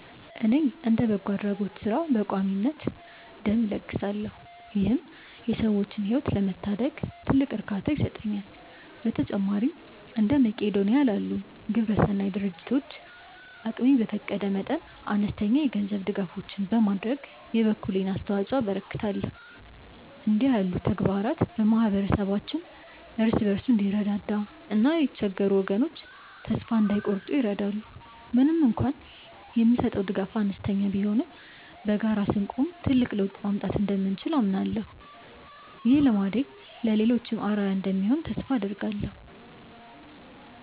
እኔ እንደ በጎ አድራጎት ሥራ በቋሚነት ደም እለግሳለሁ ይህም የሰዎችን ሕይወት ለመታደግ ትልቅ እርካታ ይሰጠኛል። በተጨማሪም እንደ መቅዶንያ ላሉ ግብረሰናይ ድርጅቶች አቅሜ በፈቀደ መጠን አነስተኛ የገንዘብ ድጋፎችን በማድረግ የበኩሌን አስተዋጽኦ አበረክታለሁ። እንዲህ ያሉ ተግባራት ማኅበረሰባችን እርስ በርሱ እንዲረዳዳና የተቸገሩ ወገኖች ተስፋ እንዳይቆርጡ ይረዳሉ። ምንም እንኳን የምሰጠው ድጋፍ አነስተኛ ቢሆንም በጋራ ስንቆም ትልቅ ለውጥ ማምጣት እንደምንችል አምናለሁ። ይህ ልማዴ ለሌሎችም አርአያ እንደሚሆን ተስፋ አደርጋለሁ።